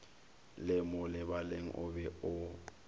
le molebaleng o be o